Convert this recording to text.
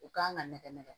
U kan ka nɛgɛ nɛgɛ